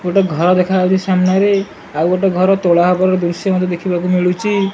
ଗୋଟେ ଘର ଦେଖା ହୋଉଚି ସାମ୍ନାରେ। ଆଉ ଗୋଟେ ଘର ତୋଳା ହବାର ଦୃଶ୍ୟ ମଧ୍ୟ ଦେଖିବାକୁ ମିଳୁଚି ।